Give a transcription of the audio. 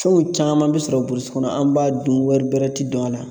Fɛnw caman be sɔrɔ burusi kɔnɔ an b'a dun wari bɛrɛ ti don a la